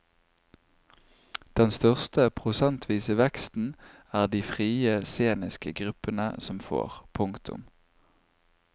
Den største prosentvise veksten er det de frie sceniske gruppene som får. punktum